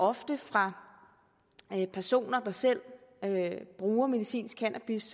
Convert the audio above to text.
ofte fra personer der selv bruger medicinsk cannabis